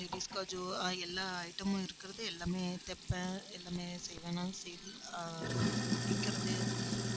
ladies எல்லா item மும் இருக்கிறது. எல்லாமே தைப்பேன் எல்லாமே செய்வனாலும் சரி ஆஹ் விக்கிறது